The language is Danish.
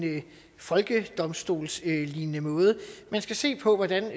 folkedomstolslignende måde men at man skal se på hvordan